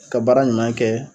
ka baara ɲuman kɛ